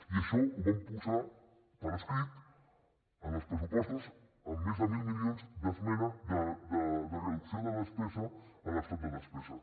i això ho vam posar per escrit en els pressupostos amb més de mil milions de reducció de despesa en l’estat de despesa